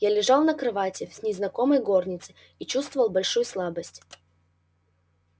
я лежал на кровати в незнакомой горнице и чувствовал большую слабость